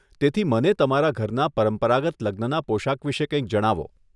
તેથી, મને તમારા ઘરના પરંપરાગત લગ્નના પોશાક વિશે કંઈક જણાવો.